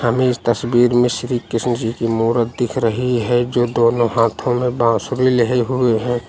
हमें इस तस्वीर में श्री कृष्ण जी की मूरत दिख रही है जो दोनो हाथों में बांसुरी लेहे हुए हैं।